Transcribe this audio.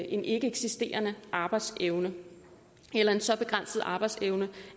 en ikkeeksisterende arbejdsevne eller en så begrænset arbejdsevne